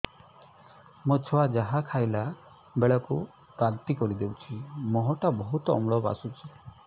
ମୋ ଛୁଆ ଯାହା ଖାଇଲା ବେଳକୁ ବାନ୍ତି କରିଦଉଛି ମୁହଁ ଟା ବହୁତ ଅମ୍ଳ ବାସୁଛି